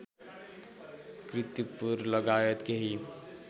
कीर्तिपुर लगायत केही